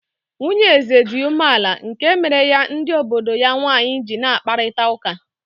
Nwunye eze dị umeala nke mere ya ndị odibo ya nwanyị ji n'akparịta ụka